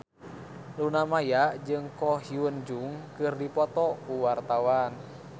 Luna Maya jeung Ko Hyun Jung keur dipoto ku wartawan